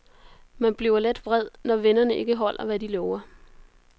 Man bliver lidt vred, når vennerne ikke holder, hvad de lover.